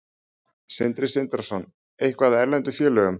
Sindri Sindrason: Eitthvað af erlendum félögum?